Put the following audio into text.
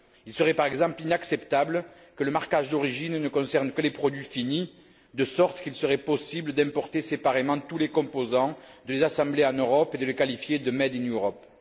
Il serait, par exemple, inacceptable que le marquage d'origine ne concerne que les produits finis, de sorte qu'il serait possible d'importer séparément tous les composants, de les assembler en Europe et de les qualifier de made in Europe